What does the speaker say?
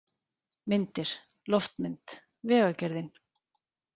Myndir: Loftmynd: Vegagerðin.